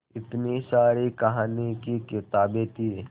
इतनी सारी कहानी की किताबें थीं